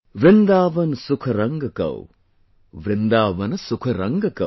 Vrindavan sukh rang kau, Vrindavan sukh rang kau